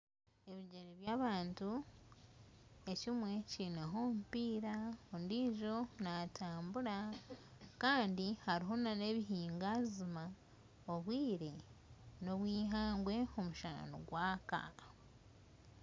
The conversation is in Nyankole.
Ebigyere by'abantu, ekimwe kiineho omupiira ondiijo naatambura. Kandi hariho n'ebihinganzima obwire n'obw'eihangwe, omushana nigwaka.